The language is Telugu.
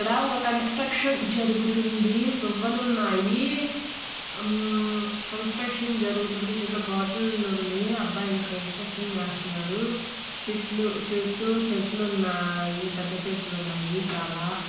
ఇక్కడ ఒక కన్స్ట్రక్షన్ జరుగుతుంది.సువ్వలున్నాయి కన్స్ట్రక్షన్ జరుగుతుంది .చిన్న బాటిల్ ఉంది. అబ్బాయిలు కన్స్ట్రక్షన్ చేస్తన్నారు. చుట్లు చుట్టూ చెట్లున్నాయి. పెద్ద చెట్లున్నాయి చాలా.